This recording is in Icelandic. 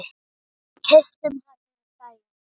Við keyptum hann um daginn.